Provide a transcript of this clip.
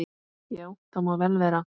Já, það má vel vera.